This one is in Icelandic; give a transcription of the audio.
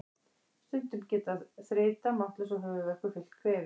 Stundum getur þreyta, máttleysi og höfuðverkur fylgt kvefi.